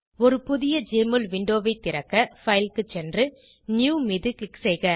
ஒரு புதிய ஜெஎம்ஒஎல் விண்டோவை திறக்க பைல் க்கு சென்று நியூ மீது க்ளிக் செய்க